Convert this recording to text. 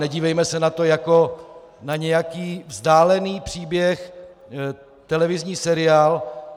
Nedívejme se na to jako na nějaký vzdálený příběh, televizní seriál.